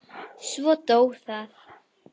Svo dó það.